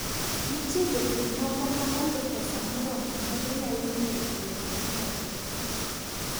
Nitie jopur moko ma onge pesa moromo ma ginyalo ng'iewo lowo momedore.